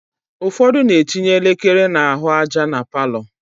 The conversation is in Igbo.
Ụfọdụ na-etinye elekere n'ahụaja na palọ